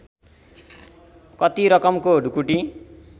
कति रकमको ढुकुटी